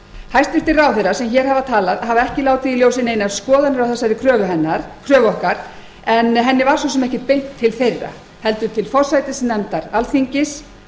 hæstvirtir ráðherrar sem hér hafa talað hafa ekki látið í ljósi neinar skoðanir á þessari kröfu okkar en henni var svo sem ekkert beint til þeirra heldur til forsætisnefndar alþingis